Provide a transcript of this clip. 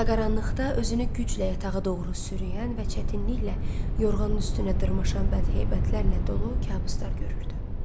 Alaqaranlıqda özünü güclə yatağa doğru sürüyən və çətinliklə yorğanın üstünə dırmaşan bədheyətlərlə dolu kabuslar görürdü.